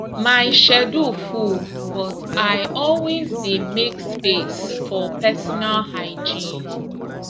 my schedule full but i always dey make space for personal hygiene